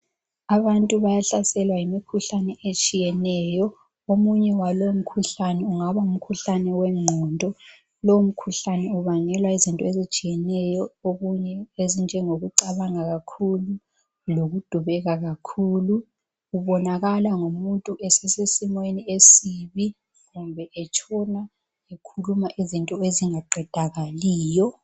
Abantu bayahlaselwa yimikhuhlane etshiyeneyo. Omunye walowomkhuhlane, ungaba ngumkhuhlane wengqondo. Lowomkhuhlane ubangelwa yizinto ezitshiyeneyo, okunye ezinjengokucabanga kakhulu, lokudubeka kakhulu. Kubonakala ngomuntu esesesimeni esibi, kumbe etshona ekhuluma izinto ezingaqedakaliyo.